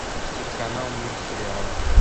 телеканал мир сериала